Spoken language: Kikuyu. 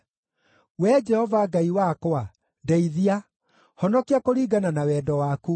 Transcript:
Wee Jehova Ngai wakwa, ndeithia; honokia kũringana na wendo waku.